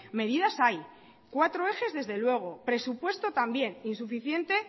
medidas hay cuatro ejes desde luego presupuesto también insuficiente